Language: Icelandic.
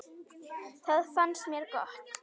Það fannst mér gott.